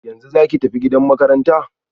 Yanzu zaki tafi gidan makaranta?